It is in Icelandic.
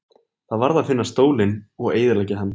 Það varð að finna stólinn og eyðileggja hann.